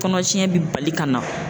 Kɔnɔtiɲɛ bi bali ka na